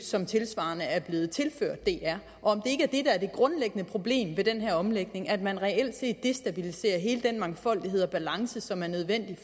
som tilsvarende er blevet tilført dr er det grundlæggende problem ved den her omlægning ikke at man reelt set destabiliserer hele den mangfoldighed og balance som er nødvendig